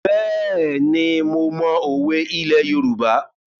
Bẹ́ẹ̀ni, mo mọ òwe ilẹ̀ Yorùbá.